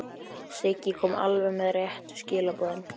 Siggi kom alveg með réttu skilaboðin.